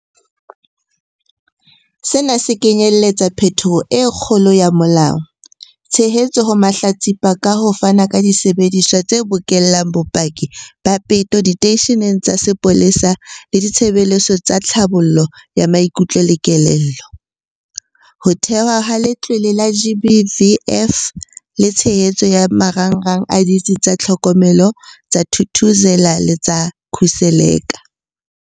Sena se kenyeletsa phetholo e kgolo ya molao, tshehetso ho mahlatsipa ka ho fana ka disebediswa tse bokellang bopaki ba peto diteisheneng tsa sepolesa le ditshebeletso tsa tlhabollo ya maikutlo le kelello, ho thehwa ha Letlole la GBVF le tshehetso ya marangrang a Ditsi tsa Tlhokomelo tsa Thuthuzela le tsa Khuseleka.